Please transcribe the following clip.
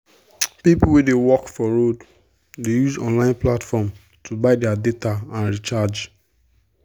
people wey dey work for road dey use online platforms to buy their data and recharge.